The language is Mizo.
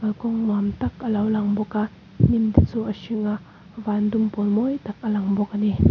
kalkawng nuamtak alo lang bawk a hnim te chu a hring a vandum pawl mawitak a langbawk ani.